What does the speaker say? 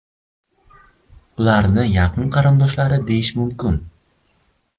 Ularni yaqin qarindoshlar deyish mumkin.